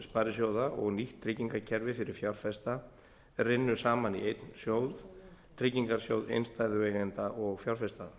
sparisjóða og nýtt tryggingakerfi fyrir fjárfesta rynnu saman í einn sjóð tryggingarsjóð innstæðueigenda og fjárfesta